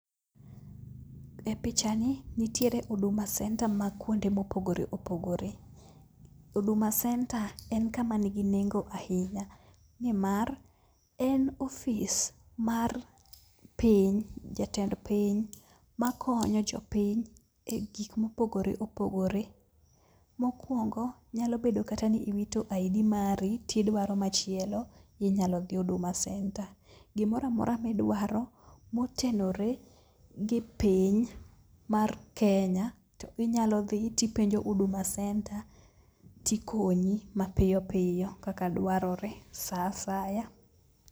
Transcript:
E picha ni, nitiere Huduma Centre ma kunde mopogore opogore. Huduma Centre en kama nigi nengo ahinya, nimar en ofis mar piny jatend piny ma konyo jopiny e gik mopogore opogore. Mokwongo nyalo bedo kata ni iwito ID mari tidwaro machielo, inyalo dhi Huduma Centre. Gimoramora midwaro motenore gi piny mar Kenya to inyalo dhi to ipenjo Huduma Centre tikonyi mapiyo piyo kaka dwarore sa asaya.